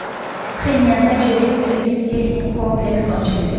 Pxenyanda yirik ilmiy-texnik kompleks ochildi.